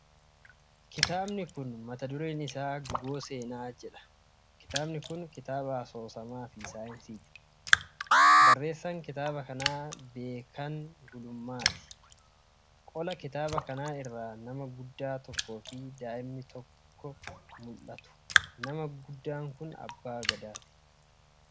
Kitaaba mata dureen isaa "Guuboo Seenaa" jedhu, kan asoosamaa fi saayinsiisaa, kan Beekan Gulummaatiin barreeffamedha. Qola kitaaba kanaa irra nama guddaa tokkoo fi daa'ima tokkotti mul'ata. Namni guddaan kun abbaa gadaati.